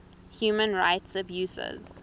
human rights abuses